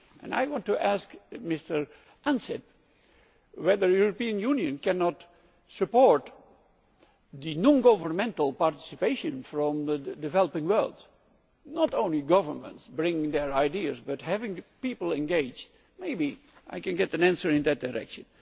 And I want to ask Mr Ansip whether the European Union cannot support non governmental participation from the developing world not only governments bringing their ideas, but having people engaged. Maybe I can get an answer in that direction.